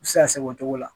U bɛ se ka sɛgɛn o cogo la